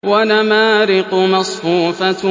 وَنَمَارِقُ مَصْفُوفَةٌ